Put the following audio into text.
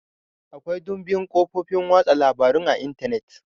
Akwai dumbin kafofin watsa labarun a Intanet.